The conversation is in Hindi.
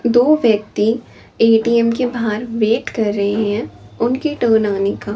दो व्यक्ति ए_टी_एम के बाहर वेट कर रहे हैं उनके आने का--